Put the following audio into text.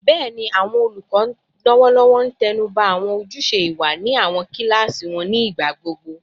Bẹẹni, awọn olukọ lọwọlọwọ n tẹnuba awọn ojuse iwa ni awọn kilasi wọn nigbagbogbo